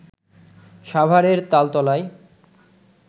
সাভারের তালতলায়